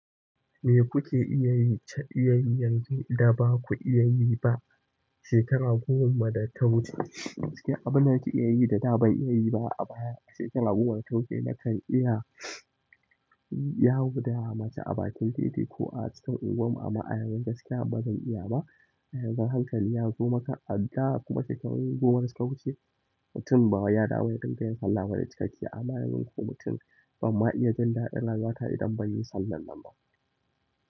Me kuke iya yi ta iyayyanzin da baku iya yi ba, shekara goma da ta wuce? Abin da nake iya yi da da ban iya yi ba a baya, a shekara goma da ta wuce nakan iya yawo da mace a bakin titi ko a cikin unguwarmu amma a yanzu gaskiya bazan iya ba. A yanzu hankali na koma kan adda, kuma shekaru goma da suka wuce, mutum ba ya damu ya dinga yin sallah bane cikakkiya, amma yanzu kuma mutum bamma iya jin daɗin rayuwa wata idan banyi sallah nan ba.